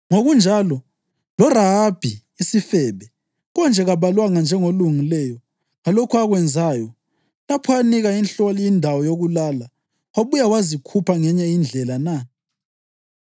Ngokunjalo, loRahabi isifebe konje kabalwanga njengolungileyo ngalokho akwenzayo lapho anika inhloli indawo yokulala wabuya wazikhupha ngenye indlela na?